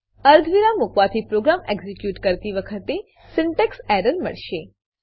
અર્ધવિરામ મુકવાથી program execute કરતી વખતે સિન્ટેક્સ એરર મળશે